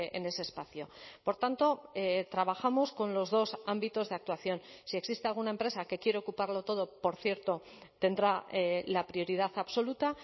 en ese espacio por tanto trabajamos con los dos ámbitos de actuación si existe alguna empresa que quiere ocupar lo todo por cierto tendrá la prioridad absoluta